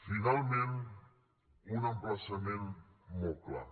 finalment un emplaçament molt clar